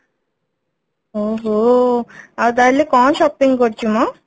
ଓଃହୋ ଆଉ ତାହେଲେ କଣ shopping କରୁଛୁ ମ